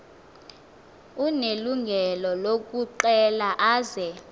unelungelo lokucela aze